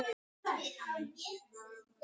Við vorum upp og niður sem lið á þessu tímabili.